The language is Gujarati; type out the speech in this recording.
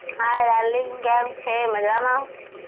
hi darling કેમ છે? મજામાં.